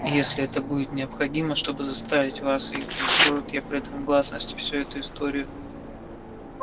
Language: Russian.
и если это будет необходимо чтобы заставить вас их уничтожить я предам гласности всю эту историю